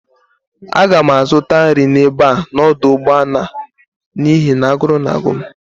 Aga m azụta nri n'ebe a n'ọdụ ụgbọala n'ihi na agụrụ na-agụ m